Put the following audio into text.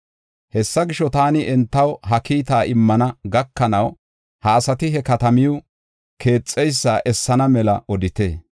Hessa gisho, taani entaw ha kiita immana gakanaw, ha asati he katamiw keexeysa essana mela odite.